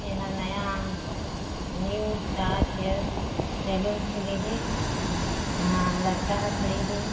एहा नया new Taj hair salon खुले हे यहाँ लड़का ह खड़े हे।